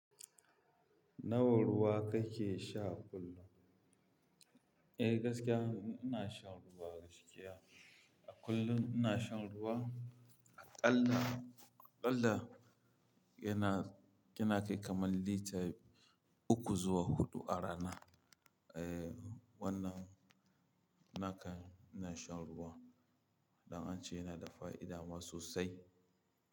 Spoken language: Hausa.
Nawa ruwa kake sha kullum? Eh, gaskiya ina shan ruwa gaskiya. A kullum ina shan ruwa aƙalla, aƙalla yana, yana kai kamar lita uku zuwa huɗu a rana. Eh, wannan naka ina shan ruwa don ance yana da fa'ida ma sosai.